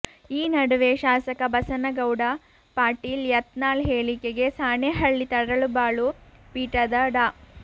ಈ ನಡುವೆ ಶಾಸಕ ಬಸನಗೌಡ ಪಾಟೀಲ್ ಯತ್ನಾಳ್ ಹೇಳಿಕೆಗೆ ಸಾಣೆಹಳ್ಳಿ ತರಳಬಾಳು ಪೀಠದ ಡಾ